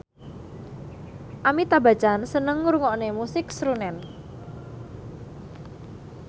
Amitabh Bachchan seneng ngrungokne musik srunen